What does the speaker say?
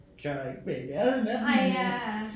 Tør ikke være i lade med dem men